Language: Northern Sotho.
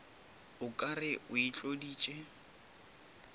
o ka re o itloditše